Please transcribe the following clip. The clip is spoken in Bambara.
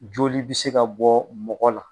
Joli bi se ka bɔ mɔgɔ la